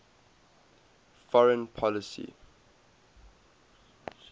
foreign policy